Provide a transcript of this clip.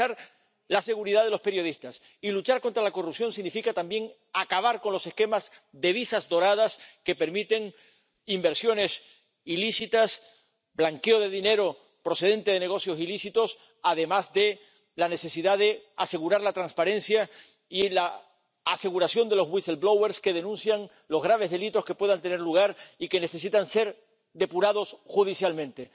Garantizar la seguridad de los periodistas y luchar contra la corrupción significa también acabar con los esquemas de visas doradas que permiten inversiones ilícitas, blanqueo de dinero procedente de negocios ilícitos, además de la necesidad de asegurar la transparencia y la aseguración de los whistleblowers que denuncian los graves delitos que puedan tener lugar y que necesitan ser depurados judicialmente.